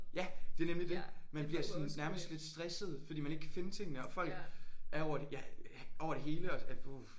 Ja det nemlig det man bliver sådan nærmest lidt stresset fordi man ikke kan finde tingene og folk er over det ja over det hele og puh